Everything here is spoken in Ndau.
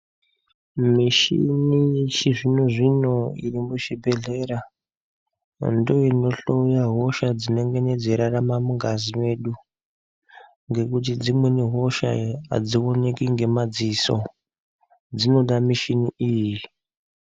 Mishini yechizvino zvino irimuzvibhedhlera ndoinohloya hosha dzinengeni dzeirarama mungazi medu ngekuti dzimweni hosha adzioneki ngemadziso dzinoda mishini iyi.